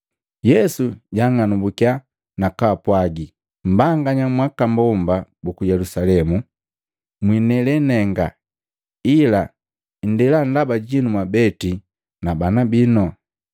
Yesu jaang'anumbukiya na kwaapwaagi, “Mbanganya mwa aka mbomba buku Yelusalemu, mwinele nenga, ila nndela ndaba jinu mwabeti na bana bino.